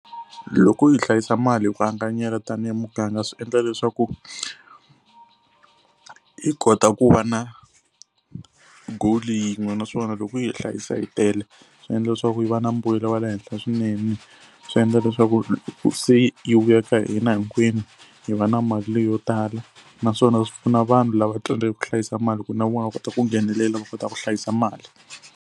Loko hi hlayisa mali hi ku anganyela tanihi muganga swi endla leswaku hi kota ku va na goal yin'we naswona loko yi hi hlayisa hi tele swi endla leswaku yi va na mbuyelo wa le henhla swinene. Swi endla leswaku loko se yi vuya ka hina hinkwenu hi va na mali leyo tala naswona swi pfuna vanhu lava tsandzekaka ku hlayisa mali ku na vona va kota ku nghenelela va kota ku hlayisa mali.